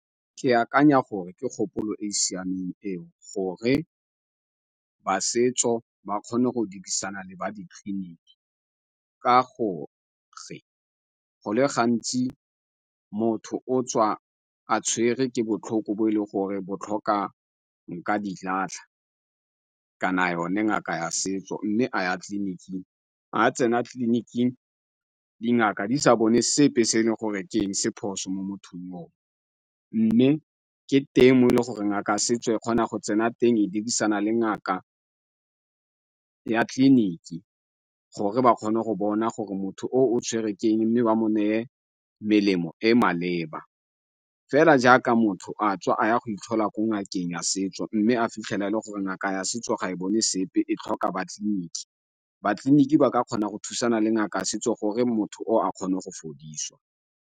Ke akanya gore ke kgopolo e e siameng eo gore ba setso ba kgone go dirisana le ba di-clinic, ka gore go le gantsi motho o tswa a tshwerwe ke botlhoko bo e leng gore botlhoka nkadilatlha kana yone ngaka ya setso mme a ya tleliniking. Ga tsena tleliniking dingaka di sa bone sepe se e leng ke eng se phoso mo mothong yo o, mme ke teng mo e leng goreng ngaka ya setso e kgona go tsena teng e dirisana le ngaka ya tleliniki gore ba kgone go bona gore motho o o tshwerwe keng, mme ba mo neye melemo e maleba, fela jaaka motho a tswa a ya go itlhola ko ngakeng ya setso mme a fitlhela e le gore ngaka ya setso ga e bone sepe, e tlhoka ba tleliniki, ba tleliniki ba ka kgona go thusana le ngaka ya setso gore motho o a kgone go fodiswa.